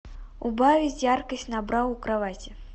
убавить яркость на бра у кровати